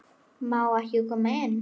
Má ég koma inn?